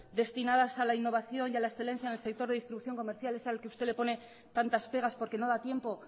destinadas a la innovación y a la excelencia en el sector de distribución comercial es al que usted le pone tantas pegas porque no da tiempo